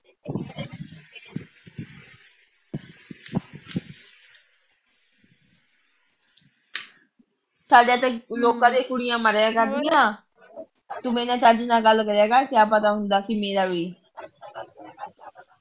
ਸਾਡੇ ਤਾ ਲੋਕਾਂ ਦੀਆ ਕੁੜੀਆਂ ਮਾਰਿਆ ਕਰਦੀਆ ਤੂੰ ਮੇਰੇ ਨਾਲ ਚੱਜ ਨਾਲ ਗੱਲ ਕਰੀਏ ਕਰ ਕਿਆ ਪਤਾ ਹੁੰਦਾ ਕੀ ਮੇਰਾ ਵੀ